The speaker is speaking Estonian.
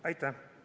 Aitäh!